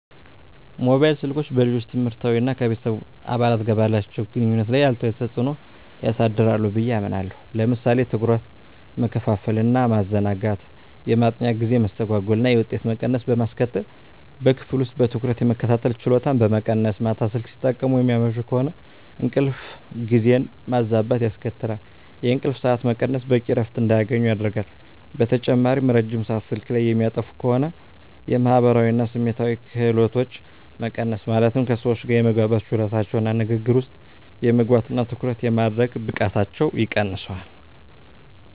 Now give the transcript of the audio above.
ሞባይል ስልኮች በልጆች ትምህርት እና ከቤተሰብ አባላት ጋር ባላቸው ግንኙነት ላይ አሉታዊ ተጽዕኖ ሊያሳድሩ ብየ አምናለሁ። ለምሳሌ ትኩረት መከፋፈል እና ማዘናጋት፣ የማጥኛ ጊዜ መስተጓጎል እና የውጤት መቀነስ በማስከትል፣ በክፍል ውስጥ በትኩረት የመከታተል ችሎታን በመቀነስ፣ ማታ ስልክ ሲጠቀሙ የሚያመሹ ከሆነ እንቅልፍ ጊዜን ማዛባት ያስከትላል፣ የእንቅልፍ ሰዓት መቀነስ በቂ እረፍት እንዳያገኙ ያደርጋል። በተጨማሪም ረጅም ሰአት ስልክ ላይ የሚያጠፉ ከሆነ የማህበራዊ እና ስሜታዊ ክህሎቶች መቀነስ ማለትም ከሰዎች ጋር የመግባባት ችሎታቸውን እና ንግግር ውስጥ የመግባት እና ትኩረት የማድረግ ብቃታቸውን ይቀንሰዋል።